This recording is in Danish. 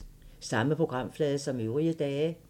Samme programflade som øvrige dage